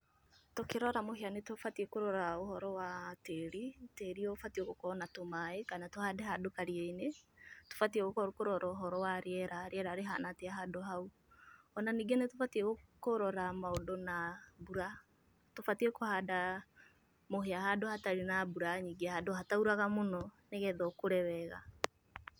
Tũkĩrora mũhĩa nĩ tũbatiĩ kũrora ũhoro wa tĩri, tĩri ũbatiĩ gũkorwo na tũmaĩ, kana tũhande handũ karia-inĩ. Tũbatiĩ kũrora ũhoro wa rĩera, rĩera rĩhana atĩa handũ hau, o na ningĩ nĩ tũbatiĩ kũrora maũndũ na mbura. Tubatiĩ kũhanda mũhĩa handũ hatarĩ na mbura nyingĩ, handũ hatauraga mũno, nĩgetha ũkũre wega